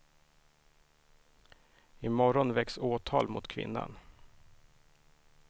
I morgon väcks åtal mot kvinnan.